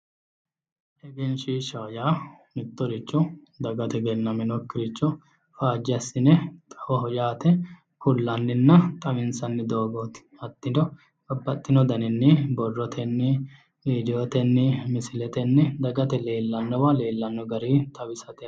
Egenishiishaho yaa mittoricho dagate egenaminokkiricho faaje assine xawaabbaho yaate kulannina xawinisanni doogoti hattino babbaxino daninni borrotenino rediotenii Misiletenni dagate leelannowa leelanno garii xawisate